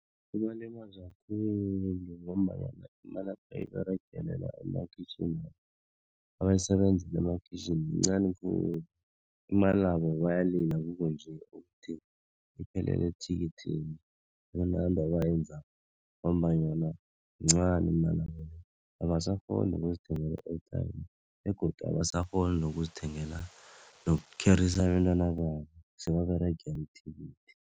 Kubalimaza khulu ngombanyana imali ebayiberegelela emakhitjhini abayisebenzela emakhitjhini yincani khulu imalabo, bayalila kukunje ukuthi iphelele ethikikhini akunanto ebayenzako ngombananyana yincani imalabo le abasakghoni nokuzithengela i-airtime begodu abasakghoni nokuzithengela nokukherisa abentababo sebaberegela ithikithi.